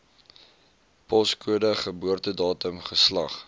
poskode geboortedatum geslag